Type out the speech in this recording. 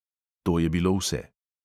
To je bilo vse.